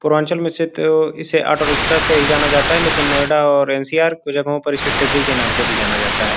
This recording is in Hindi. पूर्वांचल में इसे ऑटो रिक्शा से ही जाना जाता है लेकिन नोएडा और एन_सी_आर की जगह परिषद डिग्री के नाम से भी जाना जाता है।